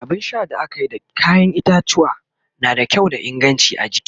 abun Sha da akayi da kayan itatuwwa na da kyau da inganci a jiki